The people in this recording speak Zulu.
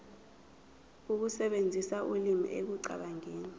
ukusebenzisa ulimi ekucabangeni